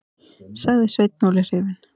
sagði Sveinn Óli hrifinn.